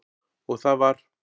Og það var